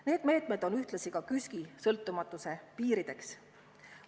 Need meetmed on ühtlasi KÜSK-i sõltumatuse piirideks.